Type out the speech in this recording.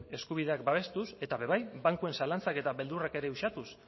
eskubideak babestuak eta ere bai bankuen zalantzak eta beldurrak ere uxatuz